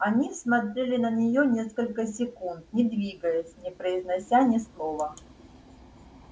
они смотрели на неё несколько секунд не двигаясь не произнося ни слова